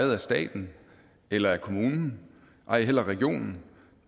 ejet af staten eller kommunen ej heller regionen